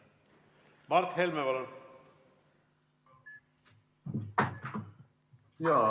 Mart Helme, palun!